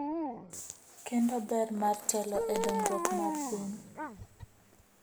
Kendo ber mar telo e dongruok mar piny.